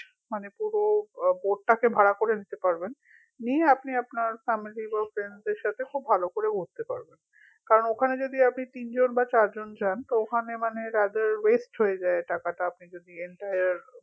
মানে পুরো আহ boat টাকে ভাড়া করে নিতে পারবেন নিয়ে আপনি আপনার family ও friend দের সাথে খুব ভালো করে ঘুরতে পারবেন কারন ওখানে যদি তিনজন বা চারজন যান তো ওখানে মানে আপনার rather waste হয়ে যায় টাকাটা আপনি যদি entire